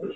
এ